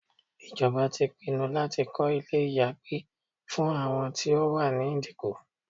Ìjọba pinnu láti kọ́ ilé ìyàgbẹ́ fún àwọn tí ó wà ní Ìdíkọ̀.